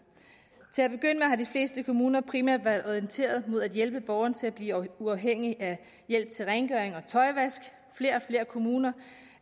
til at begynde med har de fleste kommuner primært været orienteret mod at hjælpe borgeren til at blive uafhængig af hjælp til rengøring og tøjvask flere og flere kommuner